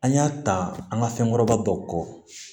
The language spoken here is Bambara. An y'a ta an ka fɛnkɔrɔba dɔw kɔ